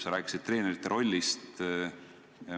Sa rääkisid treenerite rollist.